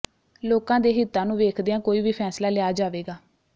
ਲੋਕਾਂ ਦੇ ਹਿੱਤਾਂ ਨੂੰ ਵੇਖਦਿਆਂ ਕੋਈ ਵੀ ਫੈਸਲਾ ਲਿਆ ਜਾਵੇਗਾ